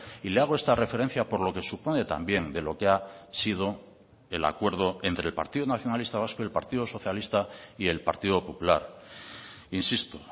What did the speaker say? y le hago esta referencia por lo que supone también de lo que ha sido el acuerdo entre el partido nacionalista vasco y el partido socialista y el partido popular insisto